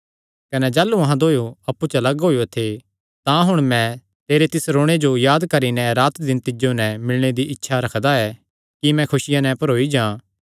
कने जाह़लू अहां दोयो अप्पु च लग्ग होएयो थे तां हुण मैं तेरे तिस रोणे जो याद करी नैं रातदिन तिज्जो नैं मिलणे दी इच्छा रखदा ऐ कि मैं खुसिया नैं भरोई जां